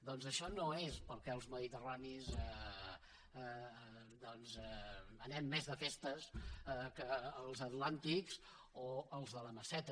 doncs això no és perquè els mediterranis anem més de festa que els atlàntics o els de la meseta